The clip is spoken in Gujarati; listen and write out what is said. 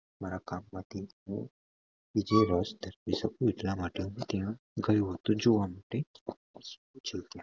મારા કામ માંથી હું જે શકું એટલા માટે હું ત્યાં ગયો હતો જોવા માટે